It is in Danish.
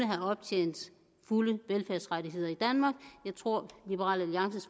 have optjent fulde velfærdsrettigheder i danmark jeg tror liberal alliances